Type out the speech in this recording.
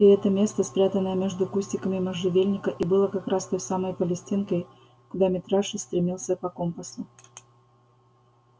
и это место спрятанное между кустиками можжевельника и было как раз той самой палестинкой куда митраша стремился по компасу